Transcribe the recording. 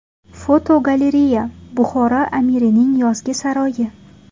Fotogalereya: Buxoro amirining yozgi saroyi.